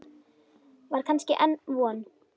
Var kannski enn von?